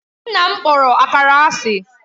Nna m kpọrọ Akara asị